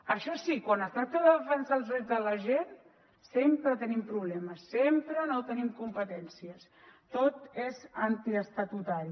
això sí quan es tracta de defensar els drets de la gent sempre tenim problemes sempre no tenim competències tot és antiestatutari